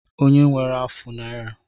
Onye nwere afụ naira?